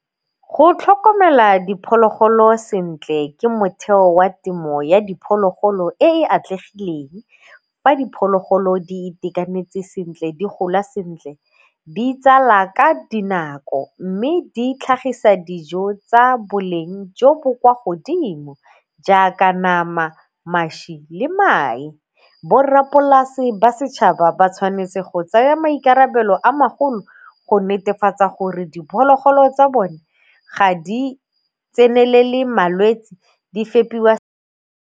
Go tlhokomela diphologolo sentle ke motheo wa temo ya diphologolo e e atlegileng. Fa diphologolo di itekanetse sentle, di gola sentle, di tsala ka dinako mme di tlhagisa dijo tsa boleng jo bo kwa godimo jaaka nama, mašwi le mae. Borrapolasi ba setšhaba ba tshwanetse go tsaya maikarabelo a magolo go netefatsa gore diphologolo tsa bone ga di tsenelele malwetsi, di fepiwa.